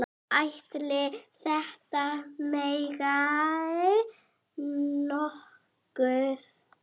Ætli þetta megi nokkuð?